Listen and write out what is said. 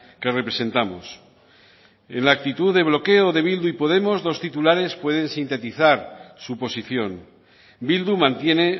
que representamos en la actitud de bloqueo de bildu y podemos dos titulares pueden sintetizar su posición bildu mantiene